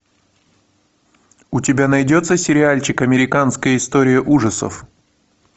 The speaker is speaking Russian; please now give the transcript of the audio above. у тебя найдется сериальчик американская история ужасов